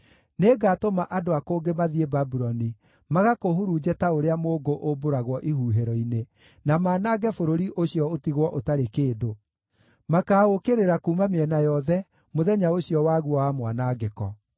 Nĩngatũma andũ a kũngĩ mathiĩ Babuloni magakũhurunje ta ũrĩa mũũngũ ũmbũragwo ihuhĩro-inĩ, na manange bũrũri ũcio ũtigwo ũtarĩ kĩndũ; makaũũkĩrĩra kuuma mĩena yothe, mũthenya ũcio waguo wa mwanangĩko.